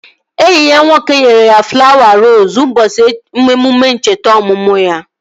Enyi ya nwoke nyere ya flawa roosu ụbọchị emume ncheta ọmụmụ ya